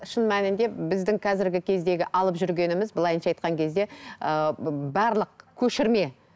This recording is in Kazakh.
шын мәнінде біздің қазіргі кездегі алып жүргеніміз былайынша айтқан кезде ыыы барлық көшірме